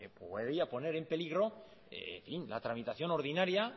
podía poner en peligro la tramitación ordinaria